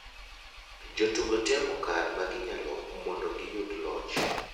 Jotugo temo kar ma ginyalo mondo giyug loch.